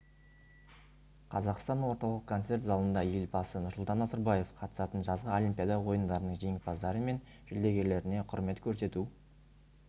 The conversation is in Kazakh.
қазақстан орталық концерт залында елбасы нұрсұлтан назарбаев қатысатын жазғы олимпиада ойындарының жеңімпаздары мен жүлдергерлеріне құрмет көрсету